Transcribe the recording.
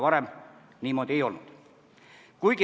Varem see niimoodi ei olnud.